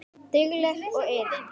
Dugleg og iðin.